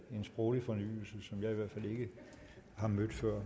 en sproglig fornyelse som jeg i hvert fald ikke har mødt før